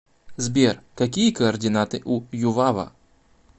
сбер какие координаты у ювава